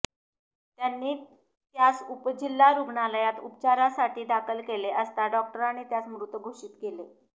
त्यांनी त्यास उपजिल्हा रुग्णालयात उपचारासाठी दाखल केले असता डॉक्टरांनी त्यास मृत घोषित केले